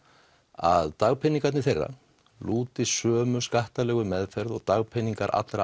að dagpeningar þeirra lúti sömu skattalegu meðferð og dagpeningar allra